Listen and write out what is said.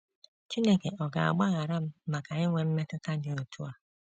‘ Chineke Ọ̀ Ga - agbaghara M Maka Inwe Mmetụta Dị Otú A? ’